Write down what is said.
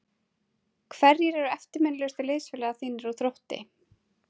Hverjir eru eftirminnilegustu liðsfélagar þínir úr Þrótti?